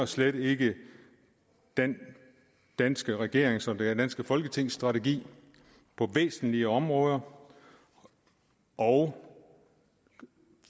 slet ikke den danske regerings og det danske folketings strategi på væsentlige områder og